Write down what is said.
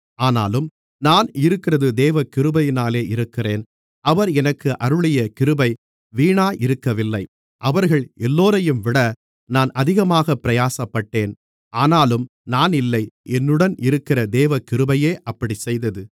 ஆனாலும் நான் இருக்கிறது தேவகிருபையினாலே இருக்கிறேன் அவர் எனக்கு அருளிய கிருபை வீணாயிருக்கவில்லை அவர்கள் எல்லோரையும்விட நான் அதிகமாகப் பிரயாசப்பட்டேன் ஆனாலும் நான் இல்லை என்னுடன் இருக்கிற தேவகிருபையே அப்படிச்செய்தது